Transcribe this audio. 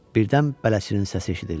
Birdən bələdçinin səsi eşidildi: